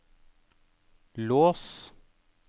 lås